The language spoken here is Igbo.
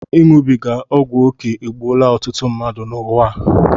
Iṅụbiga ọgwụ oké egbuola ọtụtụ mmadụ n'ụwa a